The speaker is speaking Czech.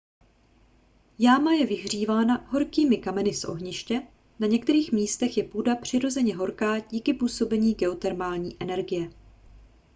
jáma je vyhřívaná horkými kameny z ohniště na některých místech je půda přirozeně horká díky působení geotermální energie